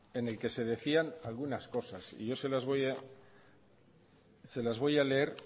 en el que se decían algunas cosas y yo se las voy a leer